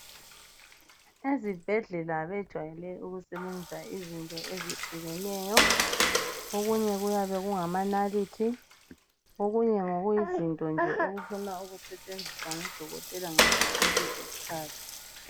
Ezibhedlela bajwayele ukusebenzisa izinto ezehlukeneyo okunye kuyabe kungamanalithi okunye ngokuyizinto okuna ukusebenzisa ngu dokotela ngudokotela nje ngaso sonke isikhathi.